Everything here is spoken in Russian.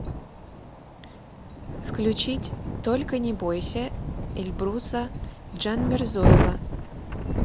включить только не бойся эльбруса джанмирзоева